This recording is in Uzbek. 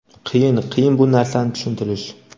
qiyin, qiyin bu narsani tushuntirish.